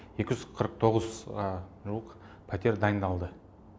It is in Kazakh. екі жүз қырық тоғызға жуық пәтер дайындалды